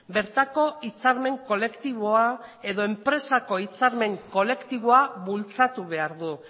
bertako hitzarmen kolektiboa edo enpresako hitzarmen kolektiboa bultzatu behar du